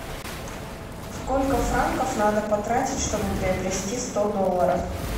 сколько франков надо потратить чтобы приобрести сто долларов